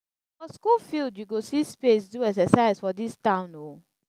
na for skool field you go see space do exercise for dis town o.